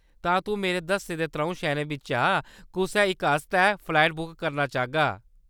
तां तूं मेरे दस्से दे त्र'ऊं शैह्‌‌‌रें बिच्चा कुसै इक आस्तै फ्लाइट बुक करना चाह्‌गा।